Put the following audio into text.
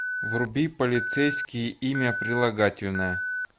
вруби полицейский имя прилагательное